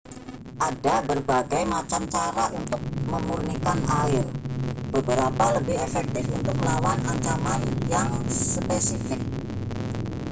ada berbagai macam cara untuk memurnikan air beberapa lebih efektif untuk melawan ancaman yang spesifik